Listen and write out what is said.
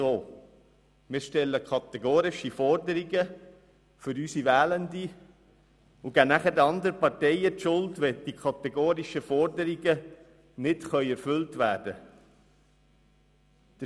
Wir stellen kategorische Forderungen für unsere Wählenden und geben anschliessend den anderen Parteien die Schuld, wenn diese kategorischen Forderungen nicht erfüllt werden können.